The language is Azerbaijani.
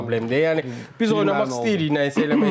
Yəni biz oynamaq istəyirik, nəyisə eləmək istəyir.